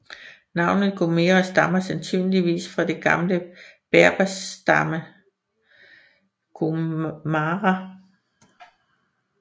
Navnet Gomera stammer sandsynligvis fra den gamle berberstamme Ghomara